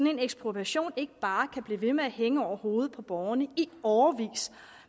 en ekspropriation ikke bare kan blive ved med at hænge over hovedet på borgerne i årevis